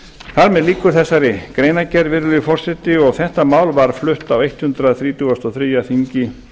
með lýkur þessari greinargerð virðulegi forseti og þetta mál var flutt á hundrað þrítugasta og þriðja þingi